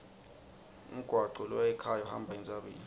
umgwaco loya ekhaya uhamba entsabeni